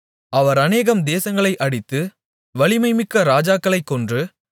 அவர் அநேகம் தேசங்களை அடித்து வலிமைமிக்க ராஜாக்களைக் கொன்று